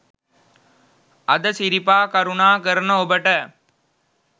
අද සිරිපා කරුණා කරන ඔබට